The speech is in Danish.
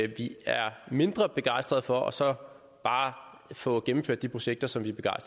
vi er mindre begejstrede for og så bare får gennemført de projekter som vi er